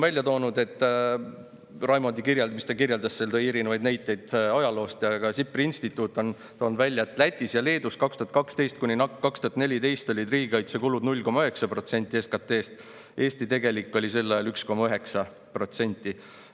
Raimond tõi erinevaid näiteid ajaloost, aga SIPRI instituut on toonud välja, et Lätis ja Leedus olid 2012–2014 riigikaitsekulud 0,9% SKT‑st, Eestis tegelikult sel ajal 1,9%.